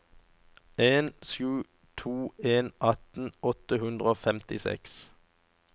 en sju to en atten åtte hundre og femtiseks